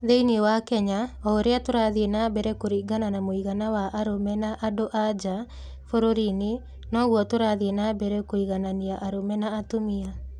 Thĩinĩ wa Kenya, o ũrĩa tũrathiĩ na mbere kũringana na mũigana wa arũme na andũ-a-nja bũrũri-inĩ, noguo tũrathiĩ na mbere kũiganania arũme na atumia.